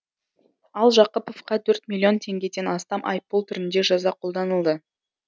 ал жақыповқа төрт миллион теңгеден астам айыппұл түрінде жаза қолданылды